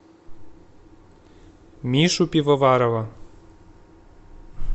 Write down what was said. мишу пивоварова